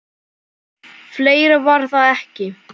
. fleira var það ekki.